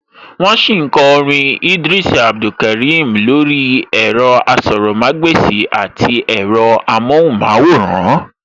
Wọ́n sì ń kọ orin Idris Abdulkarim lórí ẹ̀rọ-asọ̀rọ̀mágbèsì àti ẹ̀rọ-amọ́hùnmáwòrán